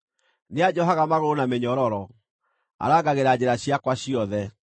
Nĩanjohaga magũrũ na mĩnyororo; arangagĩra njĩra ciakwa ciothe.’